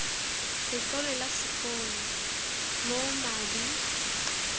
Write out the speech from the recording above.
letlole la sekolo moo madi